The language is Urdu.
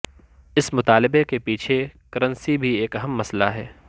اس مطالبے کے پیچھے کرنسی بھی ایک اہم مسئلہ ہے